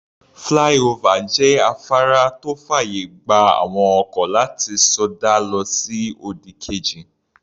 Flyover jẹ́ afárá tó fàyè gba àwọn ọkọ̀ láti sọdá lọ sí òdì kejì.